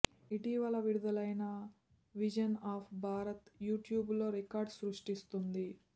ఇటీవల విడుదలయిన vision of Bharat YouTube లో రికార్డు సృష్టిస్తోంది